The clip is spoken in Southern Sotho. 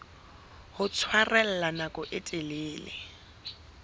ho tshwarella nako e telele